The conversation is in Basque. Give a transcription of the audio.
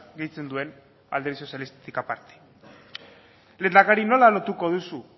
gehitzen duen alderdi sozialistatik aparte lehendakari nola lotuko duzu